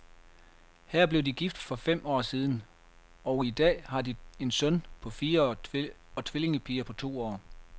Her blev de gift for fem år siden, og i dag har de en søn på fire og tvillingepiger på to år.